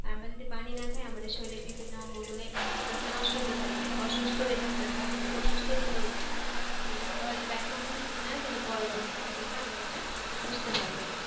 আমরা যদি পানি না খাই আমাদের শরীরের বিভিন্ন অঙ্গগুলো এভাবে আস্তে আস্তে নষ্ট হতে থাকবে অসুস্থ হয়ে থাকতে অসুস্থ তে পড়বো আমরা যেটা আমরা হয়তোবা এখন বুঝতেছি না কিন্তু পরবর্তিতে আস্তে আস্তে আমরা এটা বুঝতে পারবো